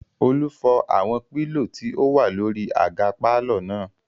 Olú fọ́ àwọn pílò tí ó wà lórí àga pàlọ́ náà